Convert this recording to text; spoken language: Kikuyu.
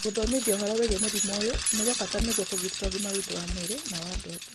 wĩthomithia ũhoro wĩgiĩ mũrimũ ũyũ nĩ kwa bata nĩguo kũgitĩre ũgima witũ wa mwĩrĩ na wa andũ angĩ.